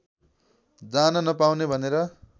जान नपाउने भनेर